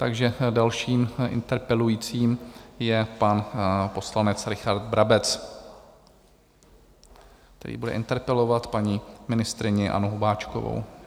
Takže dalším interpelujícím je pan poslanec Richard Brabec, který bude interpelovat paní ministryni Annu Hubáčkovou.